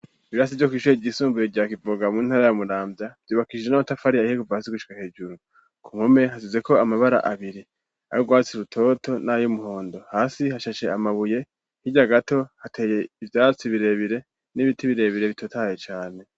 Ibirasi vyo kwishuye igisumbuye rya kivoga intara ya Muramvya vyubakishije n'amatafari ahiye kuva hasi gushika hejuru. Ku nkome hasize ko amabara abiri ayo rwatsi rutoto n'ayo umuhondo hasi hashashe amabuye hirya gato hateye ibyatsi birebire n'ibiti birebire bitotaye cane.